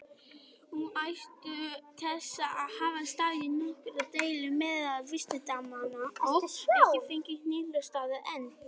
Um ástæðu þessa hafa staðið nokkrar deilur meðal vísindamanna, og ekki fengist niðurstaða enn.